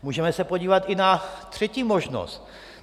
Můžeme se podívat i na třetí možnost.